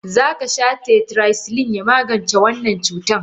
Zakasha tetracycline ya magance wannan cutan.